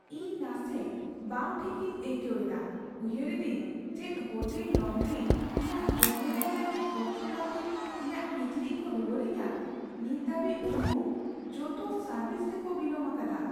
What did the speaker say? ᱤᱧ ᱱᱟᱥᱮ ᱵᱟᱝ ᱴᱷᱤᱠᱤᱧ ᱟᱹᱭᱠᱟᱹᱣ ᱮᱫᱟ, ᱩᱭᱦᱟᱹᱨ ᱮᱫᱟᱧ ᱪᱮᱫ ᱦᱳᱴᱮᱞ ᱞᱚᱱᱰᱨᱤ ᱤᱧᱟᱹᱜ ᱡᱚᱢᱮᱞᱟᱭ ᱞᱟᱹᱜᱤᱫ ᱚᱠᱛᱚ ᱱᱟᱹᱯᱤᱛ ᱤᱧᱟᱹᱜ ᱠᱤᱪᱨᱤᱡ ᱠᱚ ᱨᱩᱣᱟᱹᱲ ᱟᱹᱧᱟ ᱾ ᱱᱤᱛ ᱦᱟᱹᱵᱤᱡ, ᱩᱱᱠᱩ ᱡᱚᱛᱚ ᱥᱟᱨᱵᱷᱤᱥ ᱨᱮᱠᱚ ᱵᱤᱞᱚᱢ ᱟᱠᱟᱫᱟ ᱾